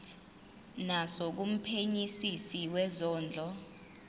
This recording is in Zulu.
naso kumphenyisisi wezondlo